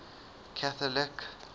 catholic